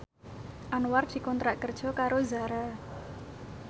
Anwar dikontrak kerja karo Zara